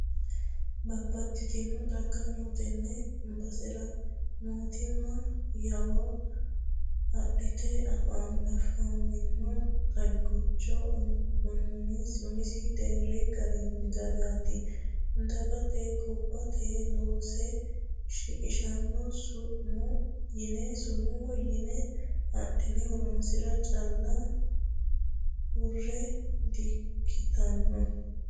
Babbaxxitino xagga no tene basera mootimma yawo adhite afamino xaggicho umisi deera agarte dagate gobbate loosse shiqqishanoha summu yine adhine horonsira calla hurre di'ikkittano.